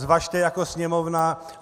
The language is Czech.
Zvažte jako Sněmovna.